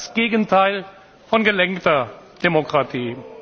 das ist das Gegenteil von gelenkter Demokratie.